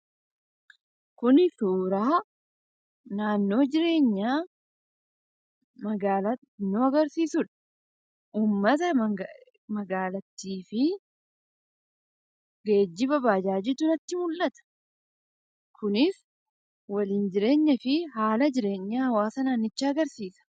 Kuni suuraa naannoo jireenyaa magaalaa xinnoo agarsiisudha. Uummata magaalattii fi geejiba baajaajii jirantu mul'ata. Kunis waliin jireenya fi haala jireenya hawaasa naannichaa agarsiisa.